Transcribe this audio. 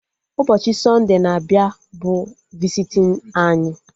Ụbọchị sọnde na-abịa bụ visitin anyị